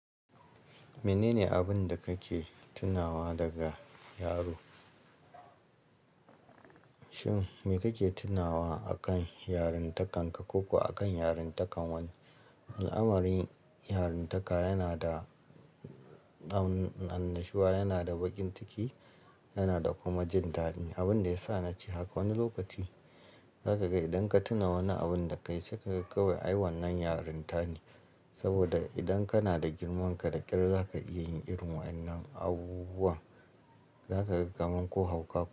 Menene abin da kake tunawa daga yaro? Shin me kake tunawa akan yarintakan ka ko ko a akan yarintakan wani? Al'amarin yarintaka yana da annashuwa, yana da baƙin ciki, yana da kuma jin dadi. Abin da ya sa na ce haka wani lokaci zaka ga idan ka tuna wani abun da ka yi sai kaga kawai ai wannan yarinta ne. Saboda idan kana da girmanka da ƙyar za ka iya yin irin waƴannan abubuwan. Zaka ga kamar ko hauka k.